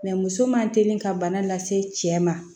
muso man teli ka bana lase cɛ ma